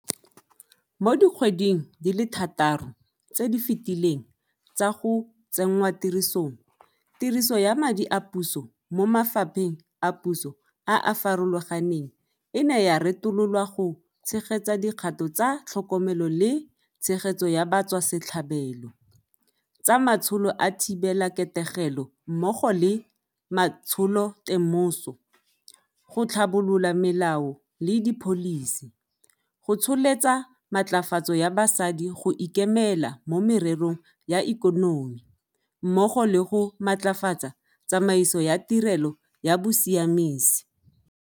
Mo dikgweding di le thataro tse di fetileng tsa go tsenngwatirisong, tiriso ya madi a puso mo mafapheng a puso a a farologaneng e ne ya retololwa go tshegetsa dikgato tsa tlhokomelo le tshegetso ya batswasetlhabelo, tsa matsholo a thibelaketegelo mmogo le matsholotemoso, go tlhabolola melao le dipholisi, go tsholetsa matlafatso ya basadi go ikemela mo mererong ya ikonomi, mmogo le go matlafatsa tsamaiso ya tirelo ya bosiamisi.